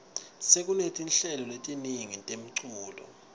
sekunetinhlelo letiningi temculo